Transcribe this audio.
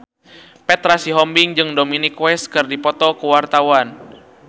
Petra Sihombing jeung Dominic West keur dipoto ku wartawan